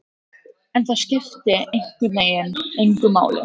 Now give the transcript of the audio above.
En það skipti einhvern veginn engu máli.